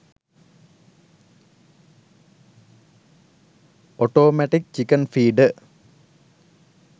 automatic chicken feeder